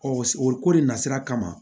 o ko de nasira kama